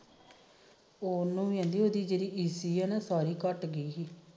ਉਹਨੂੰ ਵੀ ਜਿਹੜੀ ਈਸੀ ਆ ਨਾ ਸਾਰੀ ਘਟਗੀ